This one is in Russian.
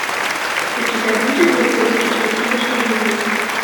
у тебя будет высоцкий спасибо что живой